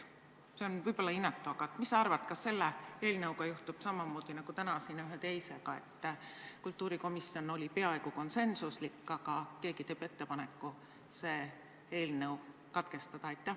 See on võib-olla inetu küsimus, aga mis sa arvad, kas selle eelnõuga juhtub samamoodi nagu täna siin ühe teisega, et kultuurikomisjon oli peaaegu konsensuslik, aga keegi teeb ettepaneku menetlus katkestada?